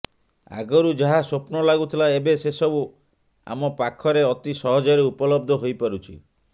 ଆଗରୁ ଯାହା ସ୍ୱପ୍ନ ଲାଗୁଥିଲା ଏବେ ସେସବୁ ଆମ ପାଖରେ ଅତି ସହଜରେ ଉପଲବ୍ଧ ହୋଇପାରୁଛି